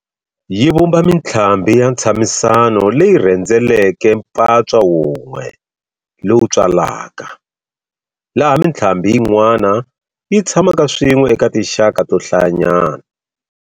Yi vumba mintlhambi ya ntshamisano leyi rhendzeleke mpatswa wun'we lowu tswalaka, laha mintlhambi yin'wana yi tshamaka swin'we eka tinxaka to hlayanyana.